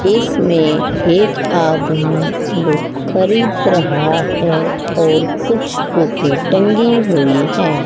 इसमें एक आदमी बुक खरीद रहा है और कुछ बुकें टंगी हुई हैं।